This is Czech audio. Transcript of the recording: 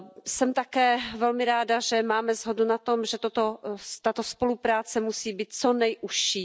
Jsem také velmi ráda, že máme shodu na tom, že tato spolupráce musí být co nejužší.